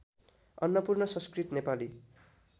Annapurna Sanskrit Nepali